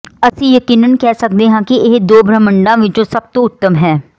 ਅਸੀਂ ਯਕੀਨਨ ਕਹਿ ਸਕਦੇ ਹਾਂ ਕਿ ਇਹ ਦੋ ਬ੍ਰਹਿਮੰਡਾਂ ਵਿਚੋਂ ਸਭ ਤੋਂ ਉੱਤਮ ਹੈ